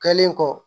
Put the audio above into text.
Kɛlen kɔ